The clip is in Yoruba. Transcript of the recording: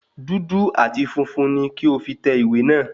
Dúdú àti funfun ní kí o fí tẹ ìwé náà